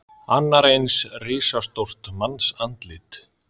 Annar eins og risastórt mannsandlit.